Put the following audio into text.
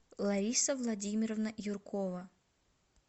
лариса владимировна юркова